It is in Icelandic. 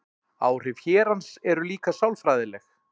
Áhrif hérans eru líka sálfræðileg.